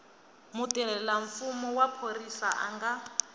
mutirhelamfumo wa phorisa a nga